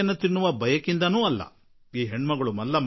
ತಮ್ಮ ಮನೆಯಲ್ಲಿ ಶೌಚಾಲಯ ಇರಬೇಕು ಎನ್ನುವುದೇ ಮಲ್ಲಮ್ಮಳ ಹಠ